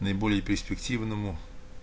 наиболее перспективному